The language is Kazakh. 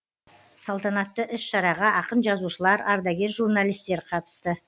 салтанатты іс шараға ақын жазушылар ардагер журналистер қатысты